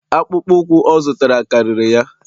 akpụkpọ ụkwụ ọ zụtara kariri ya